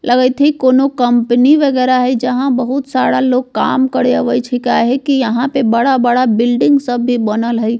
लगएत हेय कोनो कंपनी वगैरा हेय जहाँ बहुत सारा लोग काम करे आवए छै काहे की यहाँ पर बड़ा-बड़ा बिल्डिंग सब बनल हेय।